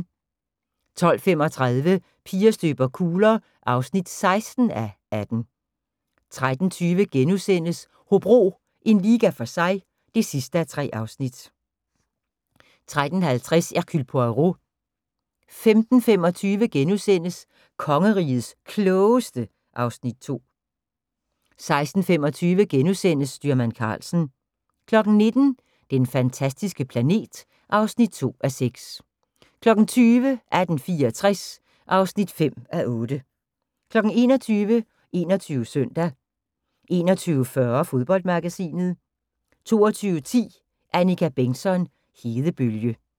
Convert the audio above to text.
12:35: Piger støber kugler (16:18) 13:20: Hobro - en liga for sig (3:3)* 13:50: Hercule Poirot 15:25: Kongerigets Klogeste (Afs. 2)* 16:25: Styrmand Karlsen * 19:00: Den fantastiske planet (2:6) 20:00: 1864 (5:8) 21:00: 21 Søndag 21:40: Fodboldmagasinet 22:10: Annika Bengtzon: Hedebølge